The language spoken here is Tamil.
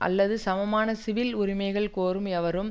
அல்லது சமமான சிவில் உரிமைகள் கோரும் எவரும்